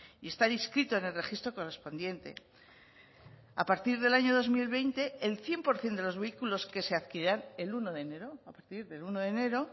y estar inscrito en el registro correspondiente a partir del año dos mil veinte el cien por ciento de los vehículos que se adquieran el uno de enero a partir del uno de enero